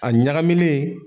A ɲagamilen